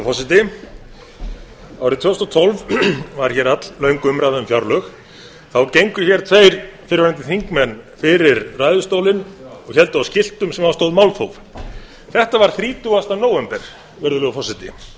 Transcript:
forseti árið tvö þúsund og tólf var hér alllöng umræða um fjárlög þá gengu hér tveir fyrrverandi þingmenn fyrir ræðustólinn og héldu á skiltum sem á stóð málþóf þetta var þrítugasta nóvember virðulegur forseti nú erum